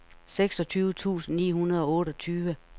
seksogtyve tusind ni hundrede og otteogtyve